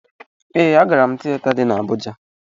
Ee, agara m tiyeta dị n'Abụja.